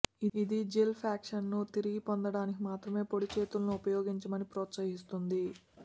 ఇది జెల్ ప్యాక్లను తిరిగి పొందడానికి మాత్రమే పొడి చేతులను ఉపయోగించమని ప్రోత్సహిస్తుంది